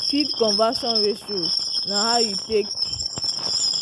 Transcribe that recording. feed conversion ratio na how you take